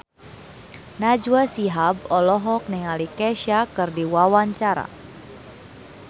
Najwa Shihab olohok ningali Kesha keur diwawancara